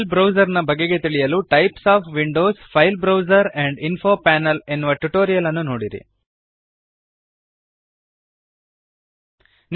file browser ನ ಬಗೆಗೆ ತಿಳಿಯಲು types of Windows file browser and info panel types of Windows file browser and info panel ಎನ್ನುವ tutorial ನೋಡಿರಿ